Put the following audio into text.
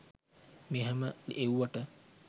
මෙහම එව්වට.